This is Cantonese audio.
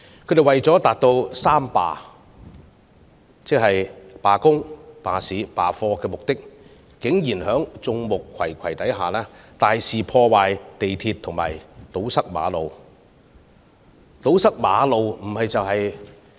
他們為了達到"三罷"——罷工、罷市、罷課——的目的，竟然在眾目睽睽之下，大肆破壞鐵路和堵塞馬路。